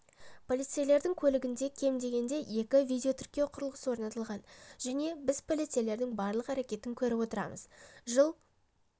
полицейлердің көлігінде кем дегенде екі видеотіркеу құрылғысы орнатылған және біз полицейлердің барлық әрекетін көріп отырамыз жыл